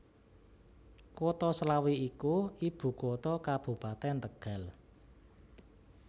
Kutha Slawi iku ibukutha Kabupatèn Tegal